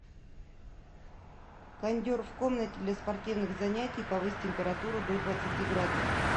кондер в комнате для спортивных занятий повысь температуру до двадцати градусов